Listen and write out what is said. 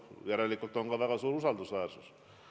Järelikult on ka väga suur usaldusväärsus.